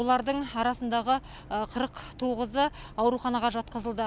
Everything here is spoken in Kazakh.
олардың арасындағы қырық тоғызы ауруханаға жатқызылды